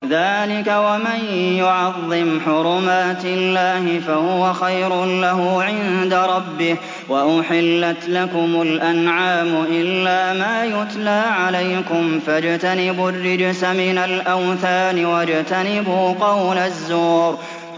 ذَٰلِكَ وَمَن يُعَظِّمْ حُرُمَاتِ اللَّهِ فَهُوَ خَيْرٌ لَّهُ عِندَ رَبِّهِ ۗ وَأُحِلَّتْ لَكُمُ الْأَنْعَامُ إِلَّا مَا يُتْلَىٰ عَلَيْكُمْ ۖ فَاجْتَنِبُوا الرِّجْسَ مِنَ الْأَوْثَانِ وَاجْتَنِبُوا قَوْلَ الزُّورِ